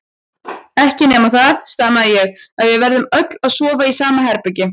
Ekki nema það, stamaði ég, að við verðum öll að sofa í sama herbergi.